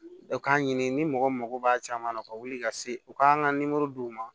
U k'a ɲini ni mɔgɔ mako b'a caman na u ka wuli ka se u k'an ka duwɔwu ma